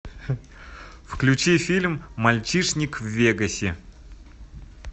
включи фильм мальчишник в вегасе